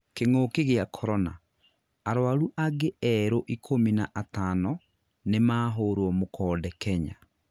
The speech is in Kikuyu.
kĩng'ũki gĩa Korona: arũaru angĩ erũ ikumi na atano nĩmahũrwo mũkonde Kenya